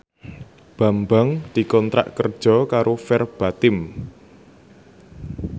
Bambang dikontrak kerja karo Verbatim